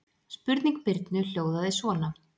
Spurning Birnu hljóðaði svona: